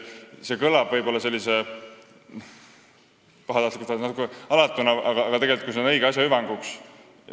See kõlab võib-olla natuke pahatahtlikult või alatult, aga see oleks ju õige asja hüvanguks.